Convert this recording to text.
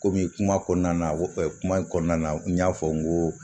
Komi kuma kɔnɔna na ko kuma in kɔnɔna na n y'a fɔ n ko